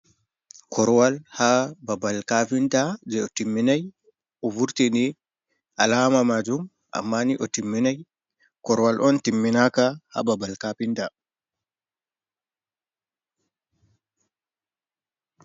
Korwal ha babal kafinta je otimminai, ovurtini alama majum amma ni otiminai, korwal on timminaka ha babal kafinta.